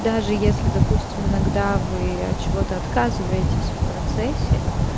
даже если допустим иногда вы от чего-то отказываетесь в процессе